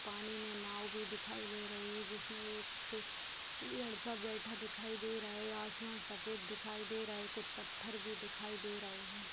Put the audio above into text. पानी मे नाव भी दिखाई दे रही है जिसमे एक लड़का बैठा दिखाई दे रहा है आसमान सफ़ेद दिखाई दे रहा है कुछ पत्थर भी दिखाई दे रहे हैं।